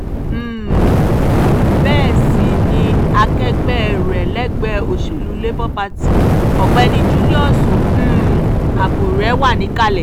um bẹ́ẹ̀ sì ni akẹgbẹ́ rẹ̀ lẹgbẹ́ òsèlú labour party ọ̀gbẹ́ni julius um abure wà níkàlẹ̀